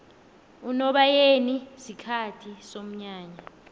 unobayeni sikhathi somnyanya